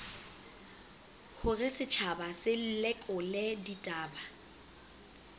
hore setjhaba se lekole ditaba